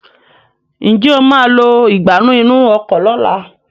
njé o má lọ Ìgbánú inú ọkọ̀ lọ̀la?